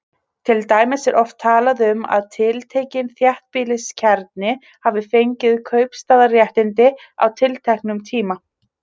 Til dæmis er oft talað um að tiltekinn þéttbýliskjarni hafi fengið kaupstaðarréttindi á tilteknum tíma.